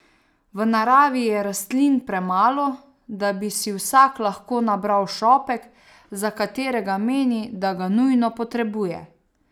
V naravi je rastlin premalo, da bi si vsak lahko nabral šopek, za katerega meni, da ga nujno potrebuje.